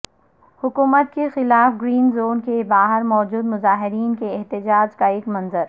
حکومت کے خلاف گرین زون کے باہر موجود مظاہرین کے احتجاج کا ایک منظر